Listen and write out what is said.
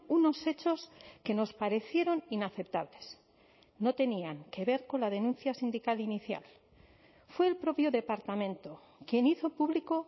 unos hechos que nos parecieron inaceptables no tenían que ver con la denuncia sindical inicial fue el propio departamento quien hizo público